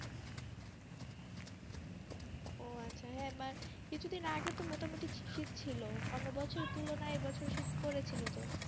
ওআচ্ছা কিছু দিন আগে তো মোটা মোটি শীত ছিল অন্য বছর তুলনাই এই বছর শীত পড়েছিলো তো